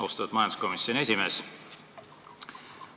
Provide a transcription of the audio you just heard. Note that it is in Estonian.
Austatud majanduskomisjoni esimees!